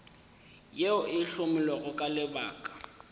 yeo e hlomilwego ka lebaka